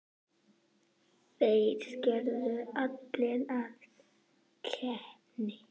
Þeir gerðu allt að keppni.